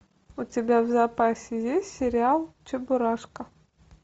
у тебя в запасе есть сериал чебурашка